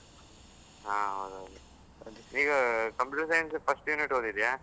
ಹಾ ಹೌದು ಹೌದು. ಈಗ Computer science first unit ಓದಿದ್ದೀಯಾ?